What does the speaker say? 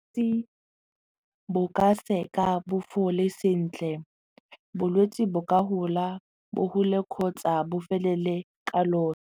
bo ka seka bo fole sentle bolwetsi bo ka gola bo gole kgotsa bo felele ka .